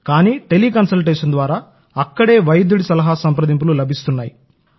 కానీ tele consultation ద్వారా అక్కడే వైద్యుడి సలహా సంప్రదింపులు లభిస్తాయి